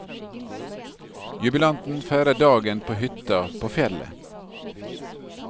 Jubilanten feirer dagen på hytta på fjellet.